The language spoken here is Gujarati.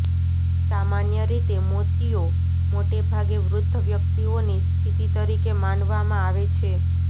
સામાન્ય રીતે મોતિયો મોટે ભાગે વૃદ્ધ વ્યક્તિઓની સ્થિતિ તરીકે માનવામાં આવે છે